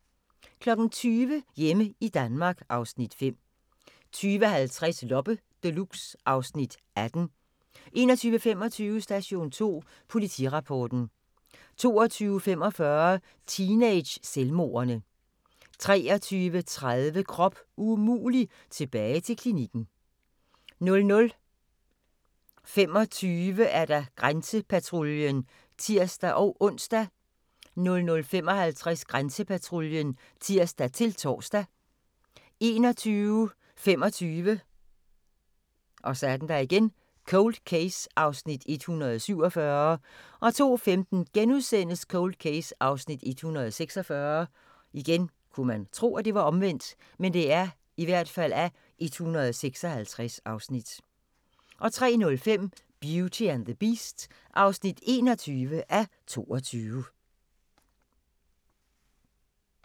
20:00: Hjemme i Danmark (Afs. 5) 20:50: Loppe Deluxe (Afs. 18) 21:25: Station 2 Politirapporten 22:45: Teenage-selvmordene 23:30: Krop umulig – tilbage til klinikken 00:25: Grænsepatruljen (tir-ons) 00:55: Grænsepatruljen (tir-tor) 01:25: Cold Case (147:156) 02:15: Cold Case (146:156)* 03:05: Beauty and the Beast (21:22)